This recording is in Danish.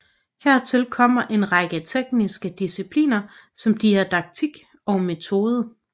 Hertil kommer en række tekniske discipliner som didaktik og metode